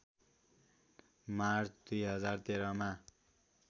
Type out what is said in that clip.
March २०१३ मा